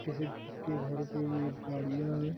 किसी के घर की गाड़ियाँ --